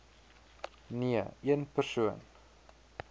nee een persoon